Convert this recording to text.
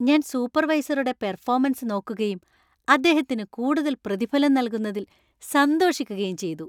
ഞാൻ സൂപ്പർവൈസറുടെ പെർഫോമൻസ് നോക്കുകയും അദ്ദേഹത്തിന് കൂടുതൽ പ്രതിഫലം നൽകുന്നതിൽ സന്തോഷിക്കുകയും ചെയ്തു.